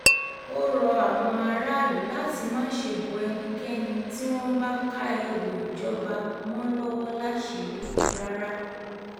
ó rọ àwọn aráàlú láti má ṣe bọ ẹnikẹ́ni tí wọ́n bá ká ẹrù ìjọba mọ́ lọ́wọ́ láṣìírí rárá